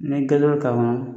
Nin kɛlen kama